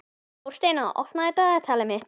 Þórsteina, opnaðu dagatalið mitt.